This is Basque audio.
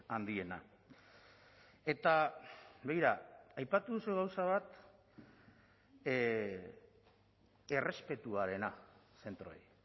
handiena eta begira aipatu duzu gauza bat errespetuarena zentroei